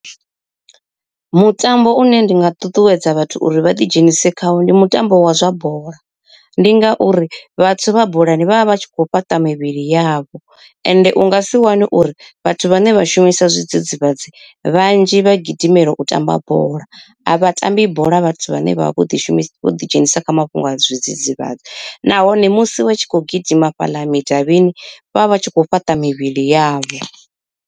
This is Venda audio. Mutambo une ndi nga ṱuṱuwedza vhathu uri vha ḓi dzhenise khawo ndi mutambo wa zwa bola, ndi ngauri vhathu vha bolani vhavha vhatshi kho fhaṱa mivhili yavho. Ende u nga si wane uri vhathu vhane vha shumisa zwidzidzivhadzi vhanzhi vha gidimela u tamba bola, a vhatambi bola vhathu vhane vha vha vho ḓi shumisa vho ḓi dzhenisa kha mafhungo a zwidzidzivhadzi nahone musi vha tshi kho gidima fhaḽa midavhini vhavha vhatshi kho fhaṱa mivhili yavho.